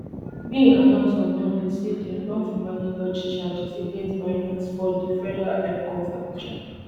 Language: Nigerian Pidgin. bin announce on monday say dem don formally lodge charges against binance for di federal high court abuja